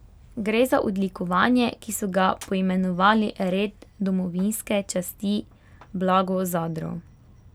Gre za odlikovanje, ki so ga poimenovali red domovinske časti Blago Zadro.